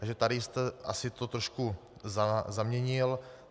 Takže tady jste to asi trošku zaměnil.